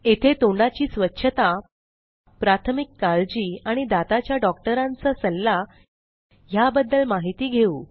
येथे तोंडाची स्वच्छता प्राथमिक काळजी आणि दाताच्या डॉक्टरांचा सल्ला ह्याबद्दल माहिती घेऊ